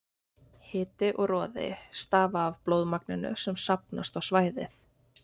Hiti og roði stafa af blóðmagninu sem safnast á svæðið.